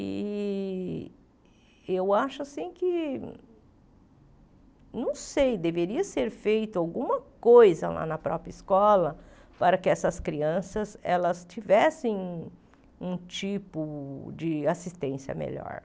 E e eu acho que, não sei, deveria ser feita alguma coisa lá na própria escola para que essas crianças elas tivessem um um tipo de assistência melhor.